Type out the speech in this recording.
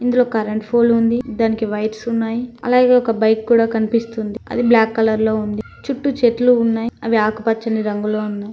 ఇందులో current pole ఉంది దానికి వైర్స్ ఉన్నాయి అలాగే ఒక బైక్ కూడా కనిపిస్తుంది అది బ్లాక్ కలర్ లో ఉంది చుట్టూ చెట్లు ఉన్నాయి అవి ఆకుపచ్చని రంగులో ఉన్నాయి.